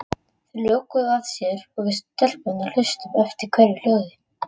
Þau lokuðu að sér og við stelpurnar hlustuðum eftir hverju hljóði.